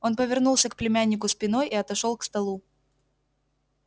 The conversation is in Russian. он повернулся к племяннику спиной и отошёл к столу